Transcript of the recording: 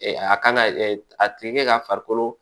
a kan ka a tigi ka farikolo